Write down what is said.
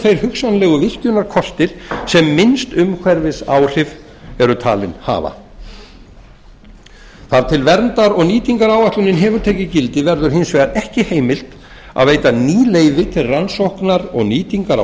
þeir hugsanlegu virkjunarkostir sem minnst umhverfisáhrif eru talin hafa þar til verndar og nýtingaráætlunin hefur tekið gildi verður hins vegar ekki heimilt að veita ný leyfi til rannsóknar og nýtingar á